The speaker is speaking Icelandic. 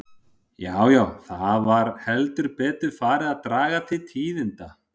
Já, já, það var heldur betur farið að draga til tíðinda!